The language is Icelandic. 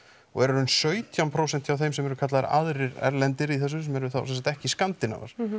og er í rauninni sautján prósent hjá þeim sem eru kallaðir aðrir erlendir í þessu sem eru þá sem sagt ekki